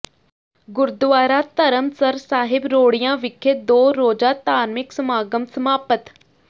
ਗੁਰਦੁਆਰਾ ਧਰਮਸਰ ਸਾਹਿਬ ਰੋੜੀਆਂ ਵਿਖੇ ਦੋ ਰੋਜ਼ਾ ਧਾਰਮਿਕ ਸਮਾਗਮ ਸਮਾਪਤ